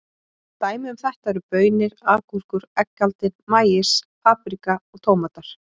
Dæmi um þetta eru baunir, agúrkur, eggaldin, maís, paprika og tómatar.